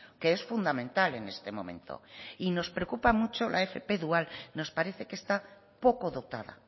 que es fundamental en este momento y nos preocupa mucho la fp dual nos parece que esta poco dotada